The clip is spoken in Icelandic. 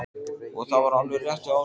Og það var alveg rétt hjá Áslaugu.